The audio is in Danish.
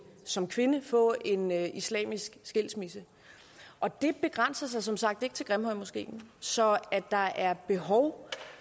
som kvinde at få en islamisk skilsmisse og det begrænser sig som sagt ikke til grimhøjmoskeen så at der er behov